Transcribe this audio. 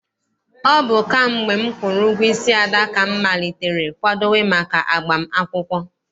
Ọ bụ kamgbe m kwụrụ ụgwọ isi Ada, ka m malitere kwadowe maka agbam akwụkwọ.